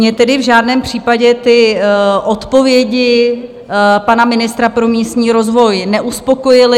Mně tedy v žádném případě ty odpovědi pana ministra pro místní rozvoj neuspokojily.